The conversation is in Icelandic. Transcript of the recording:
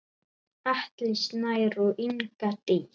Atli Snær og Inga Dís.